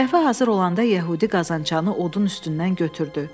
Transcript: Qəhvə hazır olanda yəhudi qazançanı odun üstündən götürdü.